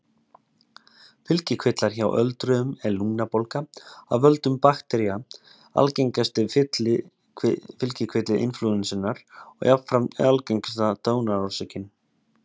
Fylgikvillar Hjá öldruðum er lungnabólga af völdum baktería algengasti fylgikvilli inflúensunnar og jafnframt algengasta dánarorsökin.